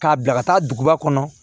K'a bila ka taa duguba kɔnɔ